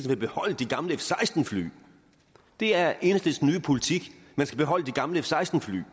vil beholde de gamle f seksten fly det er enhedslistens nye politik at man skal beholde de gamle f seksten fly